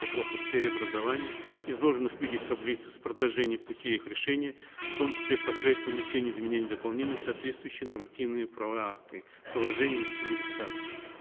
вопросов в сфере образования изложенных в виде таблицы с предложением пути их решения в том числе посредством внесения изменений и дополнений в соответствующие нормативно правовые акты приложение на семи листах